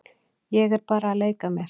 Ég er bara að leika mér.